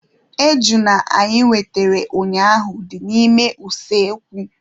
Ejuna anyị wetere ụnyaahụ dị n'ime usekwu.